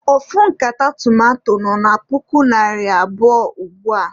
Ofu nkata tomanto nọ na puku naịra abụọ ugbua.